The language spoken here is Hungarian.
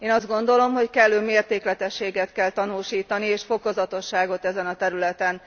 Én azt gondolom, hogy kellő mértékletességet kell tanúsítani és fokozatosságot ezen a területen.